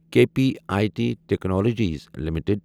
K P I T technologies limited